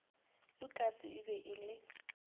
lukas e be e le